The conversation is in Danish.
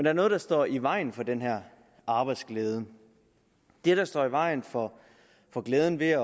er noget der står i vejen for den her arbejdsglæde det der står i vejen for for glæden ved at